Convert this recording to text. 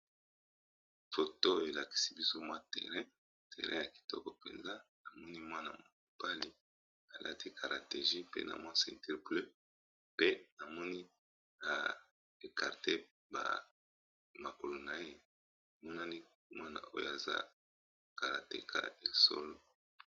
Foto elakisi biso mwa terrain, terrain ya kitoko mpenza. Na moni mwana mobali alati carategie pe na mwa ceinture bleu pe na moni a ekarte ba makolo na ye, monani mwana oyo aza karateka ya solo.